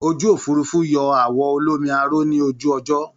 Ojú òfuurufú yọ àwọ̀ olómi aró ní ojú ọjọ́